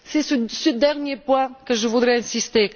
C'est sur ce dernier point que je voudrais insister.